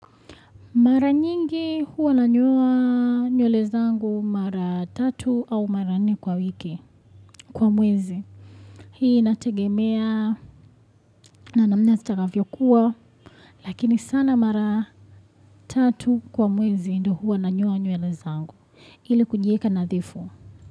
Mara nyingi huwa nanyoa nywele zangu mara tatu au mara nne kwa wiki kwa mwezi. Hii inategemea na namna zitakavyokuwa. Lakini sana mara tatu kwa mwezi ndio huwa nanyoa nyewele zangu ili kujiweka nadhifu.